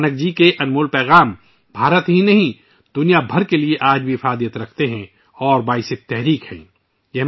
گرو نانک جی کے قیمتی پیغامات ، آج بھی نہ صرف بھارت بلکہ پوری دنیا کے لیے متاثر کن اور مفید ہیں